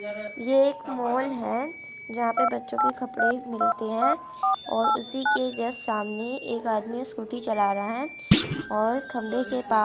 ये एक मॉल है जहां पे बच्चों के कपड़े मिलते हैं और उसी के जस्ट सामने एक आदमी स्कूटी चला रहा है और खंभे के पास--